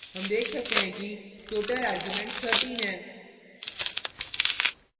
हम देख सकते हैं कि total arguments 13 हैं